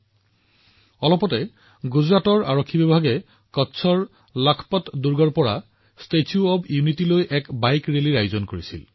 আপোনালোকে নিশ্চয় দেখিছে শেহতীয়াকৈ গুজৰাট আৰক্ষীয়ে কচ্ছৰ লাখপত কিল্লাৰ পৰা ষ্টেচু অব্ ইউনিটিলৈ বাইক ৰেলী উলিয়াইছে